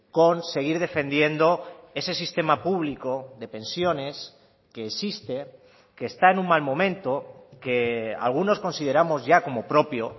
con seguir defendiendo ese sistema público de pensiones que existe que está en un mal momento que algunos consideramos ya como propio